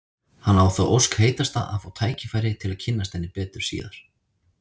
Hann á þá ósk heitasta að fá tækifæri til að kynnast henni betur síðar.